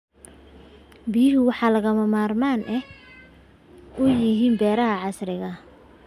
Biyuhu waxay lagama maarmaan u yihiin beeraha casriga ah.